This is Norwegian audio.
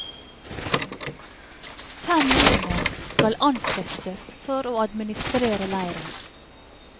Fem nordmenn skal ansettes for å administrere leiren.